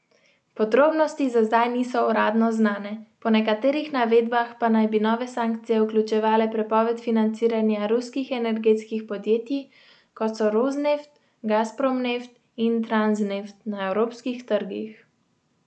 Podrobnosti za zdaj niso uradno znane, po nekaterih navedbah pa naj bi nove sankcije vključevale prepoved financiranja ruskih energetskih podjetij, kot so Rosneft, Gazprom Neft in Transneft, na evropskih trgih.